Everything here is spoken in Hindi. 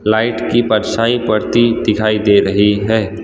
लाइट की परछाई पड़ती दिखाई दे रही है।